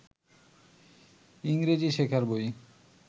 ইংরেজি শেখার বই